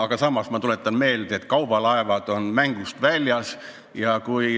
Tuletan siiski meelde, et reisilaevad on mängust väljas.